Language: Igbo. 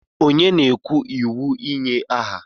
Onye na-ekwu iwu ịnye aha?